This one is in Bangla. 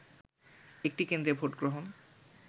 একটি কেন্দ্রে ভোটগ্রহণ